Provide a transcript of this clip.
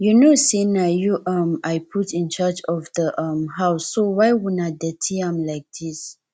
you no say na you um i put in charge of the um house so why una dirty am like dis